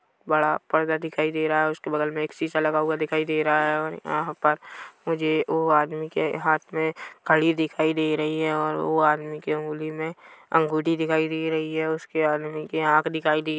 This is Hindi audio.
बड़ा पर्दा दिखाई दे रहा है उसके बगल मे एक शीशा लगा हुआ दिखाई दे रहा है और यहाँ पर मुझे वो आदमी के हाथ मे कड़ी दिखाई दे रही हैं और वो आदमी के हाथ में दिखाई दे रही है उसके आदमी के आँख दिखाई--